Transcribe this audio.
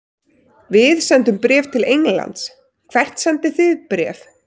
Við sendum bréf til Englands. Hvert sendið þið bréf?